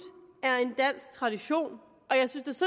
er en dansk tradition og jeg synes